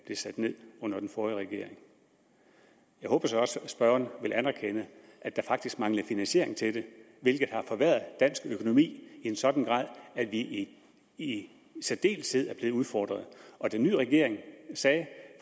blev sat ned under den forrige regering jeg håber så også at spørgeren vil anerkende at der faktisk manglede finansiering til det hvilket har forværret dansk økonomi i en sådan grad at vi i særdeleshed er blevet udfordret og den nye regering sagde